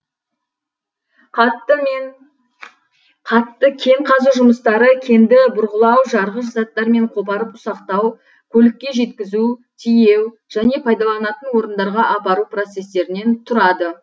қатты кен қазу жұмыстары кенді бұрғылау жарғыш заттармен қопарып ұсақтау көлікке жеткізу тиеу және пайдаланатын орындарға апару процестерінен тұрады